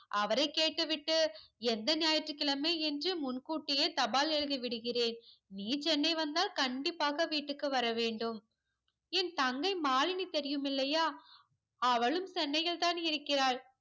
அவரை கேட்டு விட்டு எந்த ஞாயிற்றுக்கிழமை என்று முன்கூட்டியே தபால் எழுதி விடுகிறேன் நீ சென்னை வந்தால் கண்டிப்பாக வீட்டுக்கு வர வேண்டும் என் தங்கை மாலினி தெரியும் இல்லையா அவலும் சென்னையில் தான் இருக்கிறாள்